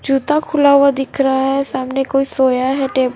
जूता खुला हुआ दिख रहा है सामने कोई सोया है टब--